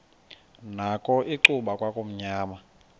nakho icuba kwakumnyama